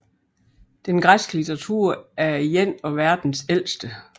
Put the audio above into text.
Den græske litteratur er en af verdens ældste